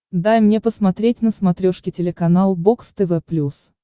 дай мне посмотреть на смотрешке телеканал бокс тв плюс